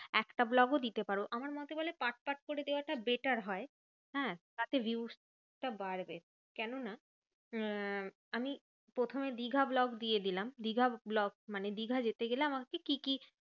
একটা vlog ও দিতে পারো, আমার মতে বলে part part করে দেওয়াটা better হয়। হ্যাঁ, তাতে views টা বাড়বে। কেননা আহ আমি প্রথমে দিঘা vlog দিয়ে দিলাম। দিঘা vlog মানে দিঘা যেতে গেলে আমাকে কি কি